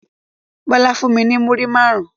Bọlá fún mi ní múrí máarun